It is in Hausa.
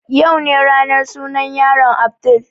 Yau ne ranar sunan yaron Abdul